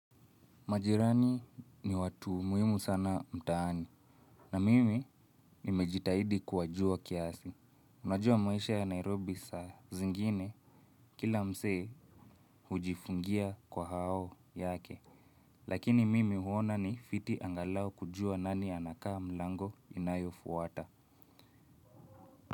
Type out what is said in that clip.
Majirani ni watu muhimu sana mtaani. Na mimi nimejitahidi kuwajua kiasi. Unajua maisha ya Nairobi saa zingine. Kila msee hujifungia kwa hao yake. Lakini mimi huona ni fiti angalau kujua nani anakaa mlango inayofuata.